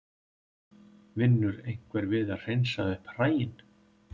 Vinnur einhver við að hreinsa upp hræin?